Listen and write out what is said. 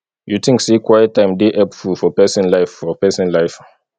you think say quiet time dey helpful for pesin life for pesin life